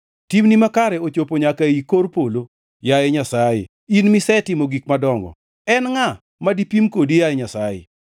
Timni makare ochopo nyaka ei kor polo, yaye Nyasaye, in misetimo gik madongo. En ngʼa ma dipim kodi, yaye Nyasaye?